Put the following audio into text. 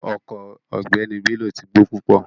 Ọko ogbeni Bello ti gbo pupo